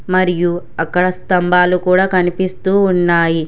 మరియు అక్కడ స్థంభాలు కూడా కనిపిస్తూ ఉన్నాయి.